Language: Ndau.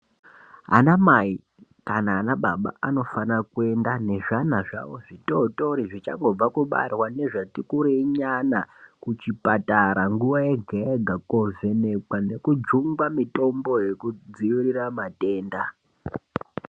Anamai kana anababa anofana kuenda nezvana zvavo zvitotori ,zvichangobva kubarwa nezvati kurei nyana, kuchipatara nguwa yega-yega, kovhenekwa nekujungwa mitombo yekudziirira matenda.